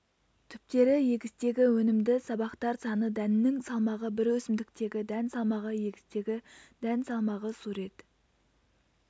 түптері егістегі өнімді сабақтар саны дәннің салмағы бір өсімдіктегі дән салмағы егістегі дән салмағы сурет